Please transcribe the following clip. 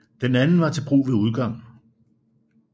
Den anden var til brug ved udgang